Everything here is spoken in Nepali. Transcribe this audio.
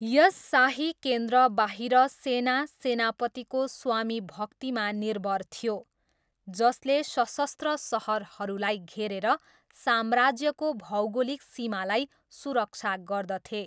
यस शाही केन्द्रबाहिर सेना सेनापतिको स्वामीभक्तिमा निर्भर थियो जसले सशस्त्र सहरहरूलाई घेरेर साम्राज्यको भौगोलिक सीमालाई सुरक्षा गर्दथे।